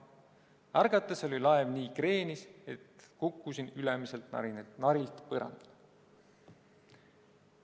Ärgates oli laev nii kreenis, et kukkusin ülemiselt narilt põrandale."